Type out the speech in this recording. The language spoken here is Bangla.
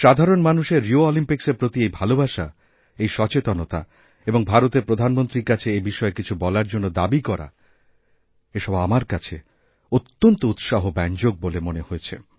সাধারণ মানুষের রিও অলিম্পিকের প্রতি এই ভালোবাসা এই সচেতনতাএবং ভারতের প্রধানমন্ত্রীর কাছে এই বিষয়ে কিছু বলার জন্য দাবী করা এসব আমার কাছেঅত্যন্ত উৎসাহব্যঞ্জক মনে হয়েছে